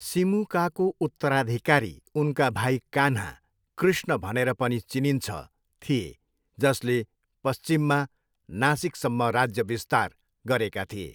सिमुकाको उत्तराधिकारी उनका भाइ कान्हा, कृष्ण भनेर पनि चिनिन्छ, थिए, जसले पश्चिममा नासिकसम्म राज्य बिस्तार गरेका थिए।